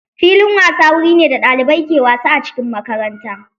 Filin wasa wuri ne da ɗalibai ke wasa a cikin makaranta.